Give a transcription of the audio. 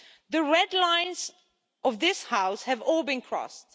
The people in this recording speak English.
The red lines of this House have all been crossed.